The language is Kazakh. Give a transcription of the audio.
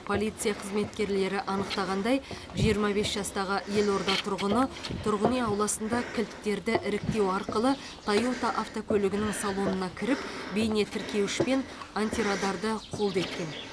полиция қызметкерлері анықтағандай жиырма бес жастағы елорда тұрғыны тұрғын үй ауласында кілттерді іріктеу арқылы тойота автокөлігінің салонына кіріп бейнетіркеуіш пен антирадарды қолды еткен